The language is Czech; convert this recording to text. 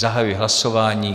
Zahajuji hlasování.